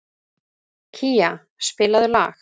Kía, spilaðu lag.